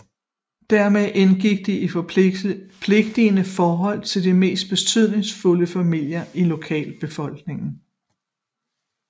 Dermed indgik de i forpligtende forhold til de mest betydningsfulde familier i lokalbefolkningen